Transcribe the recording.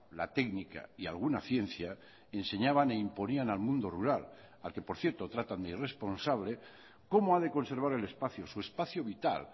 la técnica y alguna ciencia enseñaban e imponían al mundo rural al que por cierto tratan de irresponsable cómo ha de conservar el espacio su espacio vital